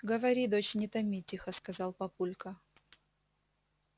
говори дочь не томи тихо сказал папулька